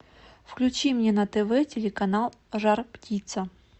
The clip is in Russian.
включи мне на тв телеканал жар птица